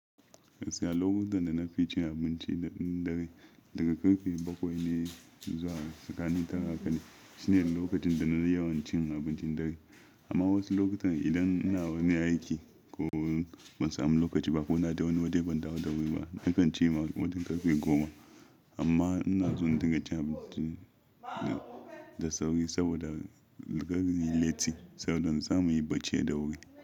Siyalokutan da na fi cin abinci da ɗin dare daga ƙarfe bakwai ne zuwa tsakani tara haka ne. Shine lokacin da na yawan cin abincin dare. Amma wasu lokutan idan ina wani aiki ko ban samu lokaci ba ko na da wani wadi ban dawo da wuri ba, na kan ci ma wani ƙarfe goma. Amma ina so in dinga cin abinci da sauri saboda daga yin latti saboda in samu yi bacci da wuri.